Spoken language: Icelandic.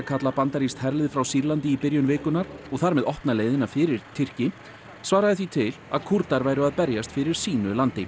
kalla bandarískt herlið frá Sýrlandi í byrjun vikunnar og þar með opna leiðina fyrir Tyrki svaraði því til að Kúrdar væru að berjast fyrir sínu landi